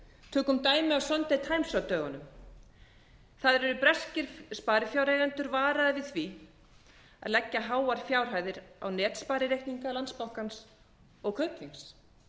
tökum dæmi af sunday times á dögunum þar eru breskir sparifjáreigendur varaðir við því að leggja háar fjárhæðir á netsparireikninga landsbankans og kaupþings